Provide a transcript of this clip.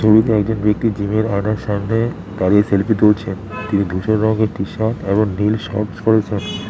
ছবিতে একজন ব্যক্তি জিমের আয়নার সামনে দাঁড়িয়ে সেলফি তুলছেন তিনি ধূসর রংয়ের টি শার্ট এবং নীল শর্টস পরেছেন।